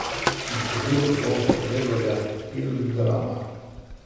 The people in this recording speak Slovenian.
Nasledil bo Gregorja Pilgrama.